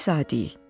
pis adiyik.